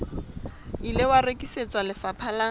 ile wa rekisetswa lefapha la